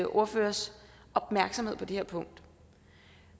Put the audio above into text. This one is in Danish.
ordførers opmærksomhed på det her punkt